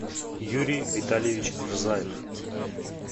юрий витальевич рзаев